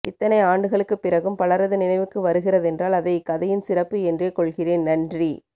இத்தனை ஆண்டுகளுக்குப் பிறகும் பலரது நினைவுக்கு வருகிறதென்றால் அதை இக்கதையின் சிறப்பு என்றே கொள்கிறேன் நன்றி